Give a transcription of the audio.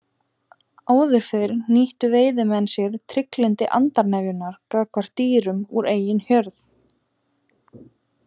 Áður fyrr nýttu veiðimenn sér trygglyndi andarnefjunnar gagnvart dýrum úr eigin hjörð.